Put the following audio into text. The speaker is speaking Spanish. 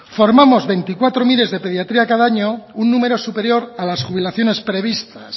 formamos veinticuatro mir de pediatría al año un número superior a las jubilaciones previstas